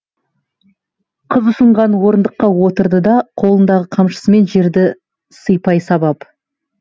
қыз ұсынған орындыққа отырды да қолындағы қамшысымен жерді сыйпай сабап